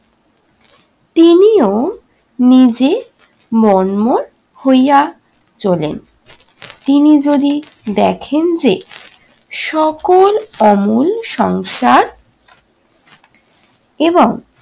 তিনিও নিজে মর্মর হইয়া চলেন। তিনি যদি দেখেন যে সকল অমল সংসার এবং